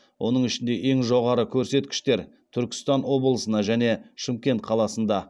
оның ішінде ең жоғары көрсеткіштер түркістан облысына және шымкент қаласында